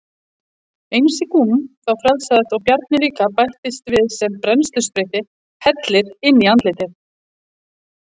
Einsi Gúm þá frelsaðist og Bjarni líka bættist við sem brennsluspritti hellir inn í andlitið.